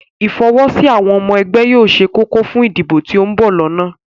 Ìfọwọ́sí àwọn ọmọ ẹgbẹ́ yóò ṣe kókó fún ìdìbò tí ó ń bọ̀ lọ́nà